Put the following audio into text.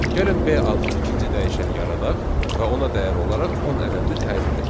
Gəlin B adlı ikinci dəyişəni yaradaq və ona dəyər olaraq 10 ədədini təyin edək.